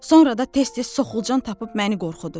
Sonra da tez-tez soxulcan tapıb məni qorxudur.